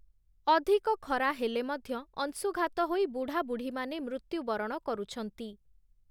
ଅଧିକ ଖରା ହେଲେ ମଧ୍ୟ ଅଂଶୁଘାତ ହୋଇ ବୁଢ଼ା ବୁଢ଼ୀମାନେ ମୃତ୍ୟୁ ବରଣ କରୁଛନ୍ତି ।